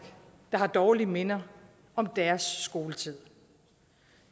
der har dårlige minder om deres skoletid